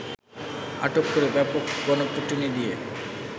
আটক করে ব্যাপক গণপিটুনি দিয়ে